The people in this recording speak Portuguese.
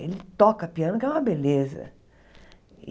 Ele toca piano, que é uma beleza.